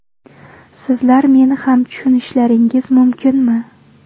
Sizlar meni ham tushunishlaringiz mumkinmi?